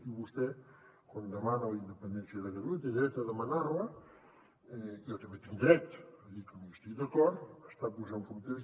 i vostè quan demana la independència de catalunya té dret a demanar la jo també tinc dret a dir que no hi estic d’acord està posant fronteres